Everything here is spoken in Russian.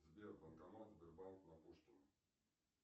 сбер банкомат сбербанк на пушкина